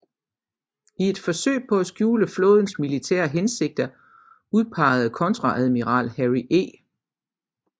I et forsøg på at skjule flådens militære hensigter udpegede kontreadmiral Harry E